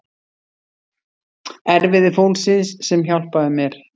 Erfiði fólksins sem hjálpaði mér.